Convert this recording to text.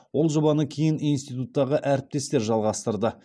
ол жобаны кейін институттағы әріптестер жалғастырды